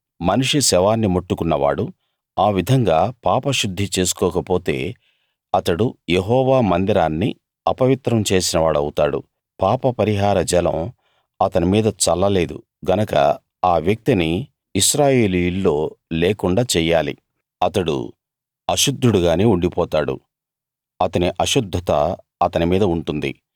మనిషి శవాన్ని ముట్టుకున్నవాడు ఆ విధంగా పాపశుద్ధి చేసుకోకపోతే అతడు యెహోవా మందిరాన్ని అపవిత్రం చేసినవాడౌతాడు పాపపరిహార జలం అతని మీద చల్ల లేదు గనక ఆ వ్యక్తిని ఇశ్రాయేలీయుల్లో లేకుండా చెయ్యాలి అతడు అశుద్ధుడుగానే ఉండిపోతాడు అతని అశుద్ధత అతని మీద ఉంటుంది